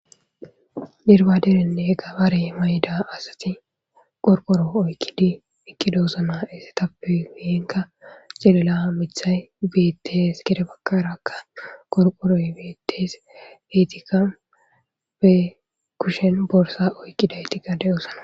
derbaderenne gabaarey mayda asati qorqoro oykkidi ekidaosna essetappe hihenka celela mithay beettees gede bakkarakka qorqoroy beettes beetikka be kushen borsa oykkida ytika de7osana